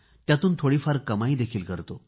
त्यातून थोडीफार कमाईही करतो